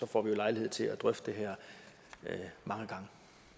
får lejlighed til at drøfte det her mange gange